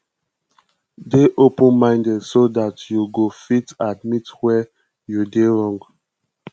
dey open minded so dat you go fit admit where you dey wrong